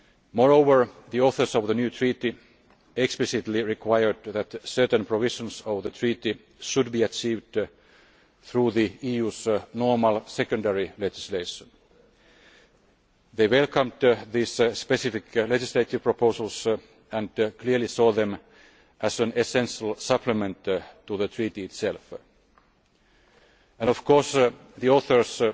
Moreover, the authors of the new treaty explicitly required that certain provisions of the treaty should be achieved through the EU's normal secondary legislation. They welcomed these specific legislative proposals and clearly saw them as an essential supplement to the treaty itself. And, of course, the authors